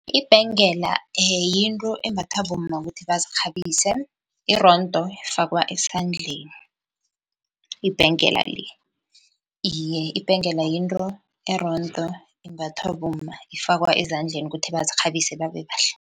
Ibhengela yinto embathwa bomma kuthi bazirhabise, irondo ifakwa esandleni ibhengela le. Iye, ibhengela yinto erondo imbathwa bomma, ifakwa ezandleni kuthi bazirhabise babe bahle.